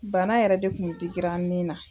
Bana yɛrɛ de kun digira n nin na